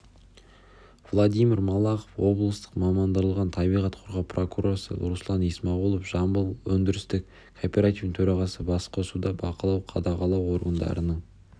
владимир малахов облыстық мамандандырылған табиғат қорғау прокуроры руслан исмағұлов жамбыл өндірістік кооперативінің төрағасы басқосуда бақылау-қадағалау органдарының